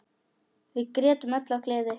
Við grétum öll af gleði.